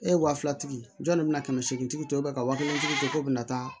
E ye wa filatigi jɔn de bɛna kɛmɛ seegin ka waa kelen to na